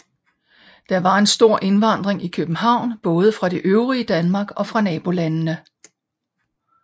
Der var en stor indvandring til København både fra det øvrige Danmark og fra nabolandene